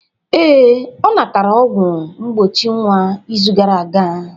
Ee, ọ natara ọgwụ mgbochi nwa n'izu gara aga